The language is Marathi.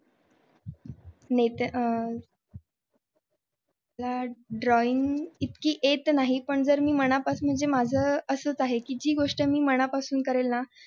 अह drawing इतकी येत नाही जर मी मनापासून माझं असंच आहे की जी गोष्ट मी मनापासून करेल ना